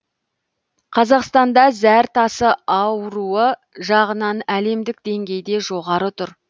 қазақстанда зәр тасы ауруы жағынан әлемдік деңгейде жоғары тұр